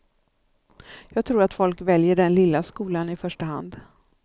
Jag tror att folk väljer den lilla skolan i första hand.